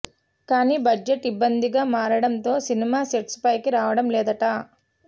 కానీ బడ్జెట్ ఇబ్బంది గా మారడం తో సినిమా సెట్స్ పైకి రావడం లేదట